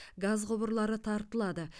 газ құбырлары тартылады